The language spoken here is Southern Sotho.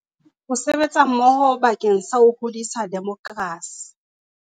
Ho sebetsa mmoho bakeng sa ho hodisa demokerasi